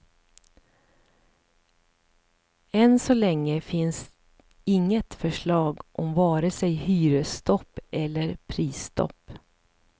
Än så länge finns inget förslag om vare sig hyresstopp eller prisstopp.